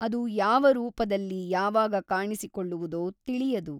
ಅದು ಯಾವ ರೂಪದಲ್ಲಿ ಯಾವಾಗ ಕಾಣಿಸಿಕೊಳ್ಳುವುದೋ ತಿಳಿಯದು.